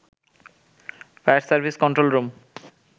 fire service control room